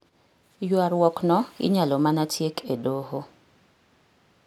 Ywaruokno inyalo mana tiek e doho.